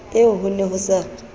eo ho ne ho sa